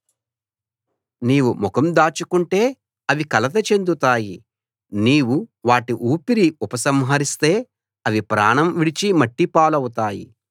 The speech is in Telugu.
నీవు ముఖం దాచుకుంటే అవి కలత చెందుతాయి నీవు వాటి ఊపిరి ఉపసంహరిస్తే అవి ప్రాణం విడిచి మట్టిపాలవుతాయి